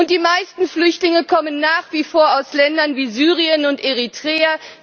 Und die meisten Flüchtlinge kommen nach wie vor aus Ländern wie Syrien und Eritrea.